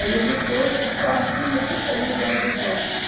Aí ele foi, só assinou se você me der o divórcio.